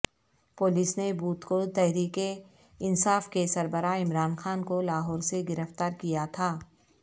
police نے بدھ کو تحریک انصاف کے سربراہ عمران خان کو لاہور سےگرفتار کیا تھا